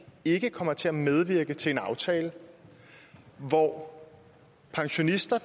ikke kommer til at medvirke til en aftale hvor pensionister